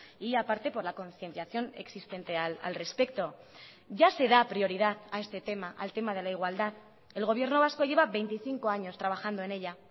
y aparte por la concienciación existente al respecto ya se da prioridad a este tema al tema de la igualdad el gobierno vasco lleva veinticinco años trabajando en ella